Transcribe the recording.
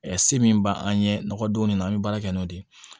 se min b'an ɲɛ nɔgɔ don ne na an be baara kɛ n'o de ye